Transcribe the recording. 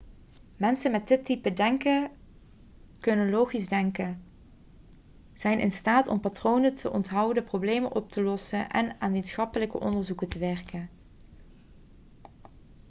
mensen met dit type denken kunnen logisch denken zijn in staat om patronen te onthouden problemen op te lossen en aan wetenschappelijke onderzoeken te werken